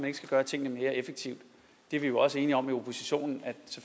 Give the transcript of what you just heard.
ikke skal gøre tingene mere effektivt vi er jo også enige om i oppositionen